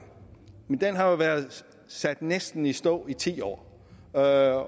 men det har jo været sat næsten i stå i ti år og